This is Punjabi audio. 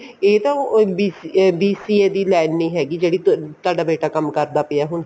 ਇਹ ਤਾਂ BCA ਦੀ line ਨੀ ਹੈਗੀ ਜਿਹੜਾ ਤੁਹਾਡਾ ਬੇਟਾ ਕੰਮ ਕਰਦਾ ਪਿਆ ਹੁਣ